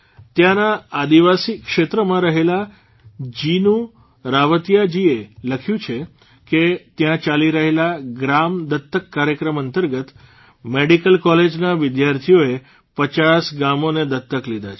ત્યાંના આદિવાસી ક્ષેત્રમાં રહેતાં જીનુ રાવતીયાજીએ લખ્યું છે કે ત્યાં ચાલી રહેલા ગ્રામ દત્તક કાર્યક્રમ અંતર્ગત મેડીકલ કોલેજના વિદ્યાર્થીઓએ ૫૦ ગામોને દત્તક લીધાં છે